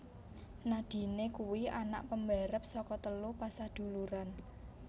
Nadine kuwi anak pembarep saka telu pasaduluran